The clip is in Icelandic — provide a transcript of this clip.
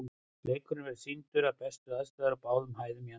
Leikurinn verður sýndur við bestu aðstæður á báðum hæðum í anddyrinu.